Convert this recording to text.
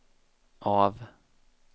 av